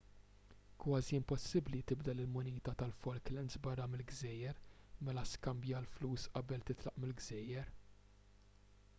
kważi impossibbli tibdel il-munita tal-falklands barra mill-gżejjer mela skambja l-flus qabel titlaq mill-gżejjer